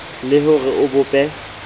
le ho re o bope